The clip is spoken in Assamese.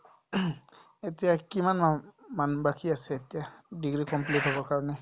এতিয়া কিমান মাম্ ~ মান বাকি আছে এতিয়া degree complete হ'বৰ কাৰণে ?